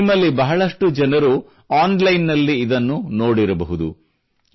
ನಿಮ್ಮಲ್ಲಿ ಬಹಳಷ್ಟು ಜನರು ಆನ್ಲೈನ್ ನಲ್ಲಿ ಇದನ್ನು ನೋಡಿರಬಹುದು